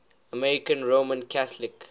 american roman catholic